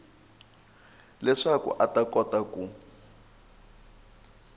leswaku a ta kota ku